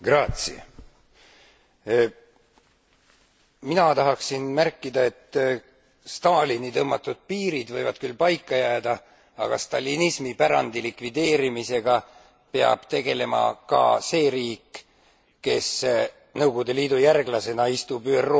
Mina tahaksin märkida, et Stalini tõmmatud piirid võivad küll paika jääda, aga stalinismi pärandi likvideerimisega peab tegelema ka see riik, kes Nõukogude Liidu järglasena istub ÜRO Julgeolekunõukogus, aga Kesk Aasias